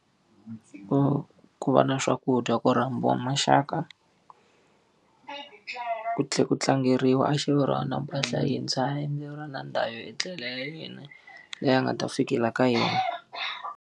Ku ku va na swakudya ku rhambiwa maxaka, ku tlhela ku tlangeriwa a xaveriwa na mpahla yintshwa endleriwa na ndhawu yo etlela ya yena, leyi a nga ta fikela ka yona.